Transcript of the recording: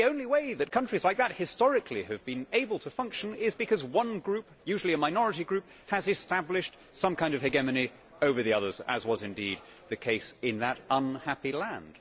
And the only way that countries like that historically have been able to function is because one group, usually a minority group, has established some kind of hegemony over the others, as was indeed the case in that unhappy land.